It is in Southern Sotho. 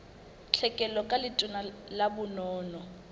tlhekelo ka letona la bonono